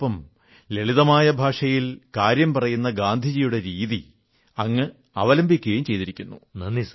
അതോടൊപ്പം ലളിതമായ ഭാഷയിൽ കാര്യം പറയുന്ന ഗാന്ധിജിയുടെ രീതി അങ്ങ് അവലംബിച്ചിരിക്കയും ചെയ്തിരിക്കുന്നു